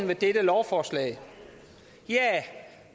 ved dette lovforslag ja